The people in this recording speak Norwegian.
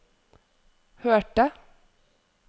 hørte